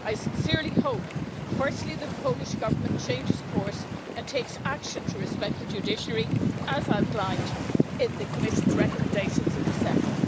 I sincerely hope, firstly, that the Polish Government changes course and takes action to respect the judiciary as outlined in the Commission's recommendations of December.